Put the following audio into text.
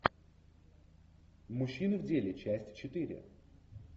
мужчины в деле часть четыре